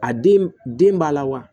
A den den b'a la wa